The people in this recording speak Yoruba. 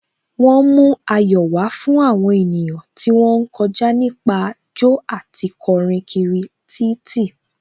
Wọ́n mú ayọ̀ wá fún àwọn ènìyàn tí wón ń kọjá nípa jó àti kọrin kiri títì.